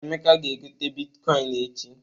Emeka ga-egote bitkọịn echi.